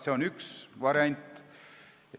See on üks variante.